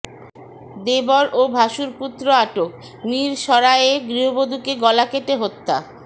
দেবর ও ভাশুরপুত্র আটক মিরসরাইয়ে গৃহবধূকে গলা কেটে হত্যা